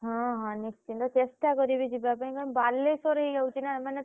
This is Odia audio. ହଁ ହଁ ନିଶ୍ଚିନ୍ତ ଚେଷ୍ଟା କରିବି ଯିବା ପାଇଁ କାରଣ ବାଲେଶ୍ୱର ହେଇଯାଉଛି ନା ମାନେ।